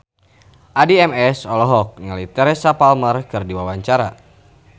Addie MS olohok ningali Teresa Palmer keur diwawancara